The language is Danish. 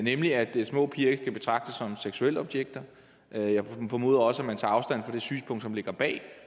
nemlig at små piger ikke kan betragtes som seksualobjekter jeg formoder også man tager afstand fra det synspunkt som ligger bag